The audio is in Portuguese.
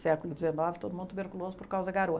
Século dezenove, todo mundo tuberculoso por causa da garoa.